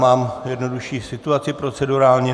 Máme jednodušší situaci procedurálně.